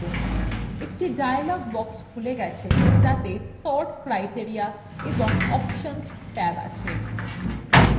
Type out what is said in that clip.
একটি dialog box খুলে গেছে যাতে sort criteria এবং options ট্যাব আছে